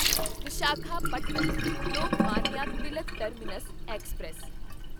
Visakhapatnam Lokmanya Tilak terminus express